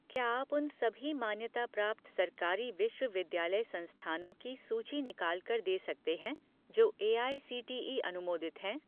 क्या आप उन सभी मान्यता प्राप्त सरकारी विश्वविद्यालय संस्थानों की सूची निकाल कर दे सकते हैं जो एआईसीटीई अनुमोदित हैं?